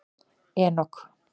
Enok